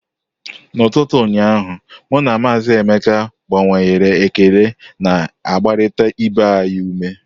N'ụtụtụ ụnyaahụ, mụ na Maazị Emeka gbanwere ekele na-agbarịta ibe anyị ume.